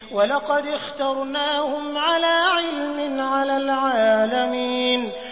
وَلَقَدِ اخْتَرْنَاهُمْ عَلَىٰ عِلْمٍ عَلَى الْعَالَمِينَ